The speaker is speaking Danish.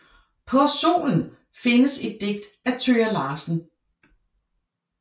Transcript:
På Solen findes et digt af Thøger Larsen